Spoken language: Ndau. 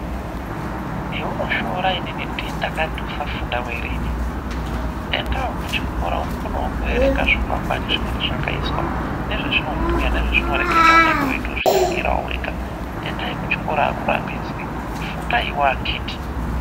Heunoshoora inini ndini ndakati usafundawo ere inini? Endawo kuchikora ukonewo kuerenga zvikwangwani zvinonga zvakaiswa, nezvezvinobhuya, nezvezvinoreketa unenge weitozviziirawo wega. Endai kuchikora akurambidzwi, fundaiwo akhiti .